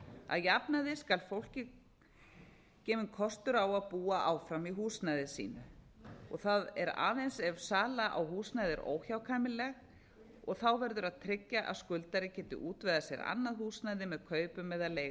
að jafnaði skal gefa fólki gefinn kostur á að búa áfram í húsnæði sínu það er aðeins ef sala á húsnæði er óhjákvæmileg verður að tryggja að skuldari geti útvegað sér annað húsnæði með kaupum eða leigu